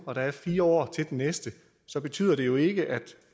og der er fire år til den næste så betyder det jo ikke at